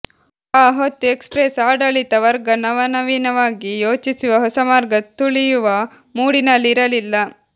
ಆ ಹೊತ್ತು ಎಕ್ಸ್ಪ್ರೆಸ್ ಆಡಳಿತ ವರ್ಗ ನವನವೀನವಾಗಿ ಯೋಚಿಸುವ ಹೊಸಮಾರ್ಗ ತುಳಿಯುವ ಮೂಡಿನಲ್ಲಿ ಇರಲಿಲ್ಲ